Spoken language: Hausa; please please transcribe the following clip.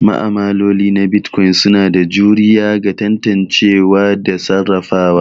Ma'amaloli na Bitcoin suna da juriya ga tantancewa da sarrafawa.